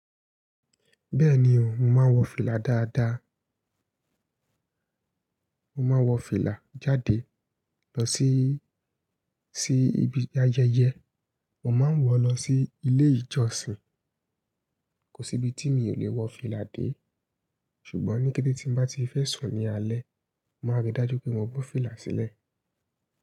Bẹ́ẹ̀ni o, mo máa ń wọ fìlà dáadáa. Mo máa ń wọ fìlà jáde lọ sí, sí ibi ayẹyẹ. Mo máa ń wọ̀ lọ sí ilé ìjọsìn. Kò sí ibi tí mi ò lè wọ fìlà dé. Ṣùgbọ́n ní kété tí n bá ti fẹ́ sùn ní alẹ́, màá rí dájú pé mo bọ́ fìlà sílẹ̀